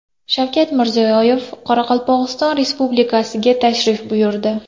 Shavkat Mirziyoyev Qoraqalpog‘iston Respublikasiga tashrif buyurdi.